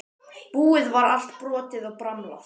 Búið var allt brotið og bramlað.